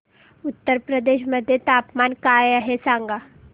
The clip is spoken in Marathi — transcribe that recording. उत्तर प्रदेश मध्ये तापमान काय आहे सांगा